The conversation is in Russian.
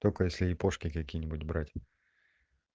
только если япошки какие-нибудь брать